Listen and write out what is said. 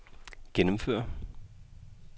gennemføre